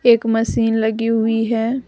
एक मशीन लगी हुई है।